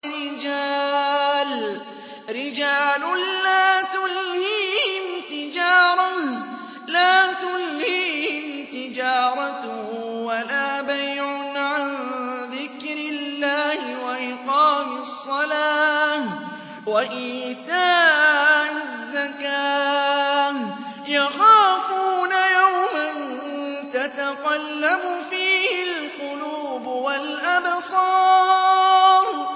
رِجَالٌ لَّا تُلْهِيهِمْ تِجَارَةٌ وَلَا بَيْعٌ عَن ذِكْرِ اللَّهِ وَإِقَامِ الصَّلَاةِ وَإِيتَاءِ الزَّكَاةِ ۙ يَخَافُونَ يَوْمًا تَتَقَلَّبُ فِيهِ الْقُلُوبُ وَالْأَبْصَارُ